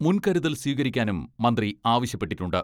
മുൻകരുതൽ സ്വീകരിക്കാനും മന്ത്രി ആവശ്യപ്പെട്ടിട്ടുണ്ട്.